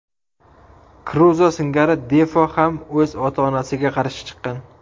Kruzo singari Defo ham o‘z ota-onasiga qarshi chiqqan.